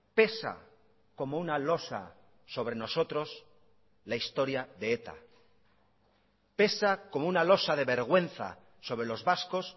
pesa como una losa sobre nosotros la historia de eta pesa como una losa de vergüenza sobre los vascos